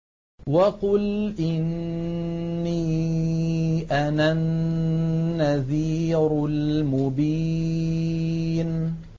وَقُلْ إِنِّي أَنَا النَّذِيرُ الْمُبِينُ